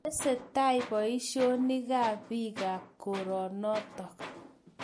Tesetai boisionik biikab koronotok